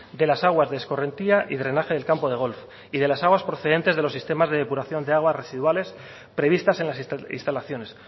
de las aguas de escorrentía y drenaje del campo de golf y de las aguas procedentes de los sistemas de depuración de aguas residuales previstas en las instalaciones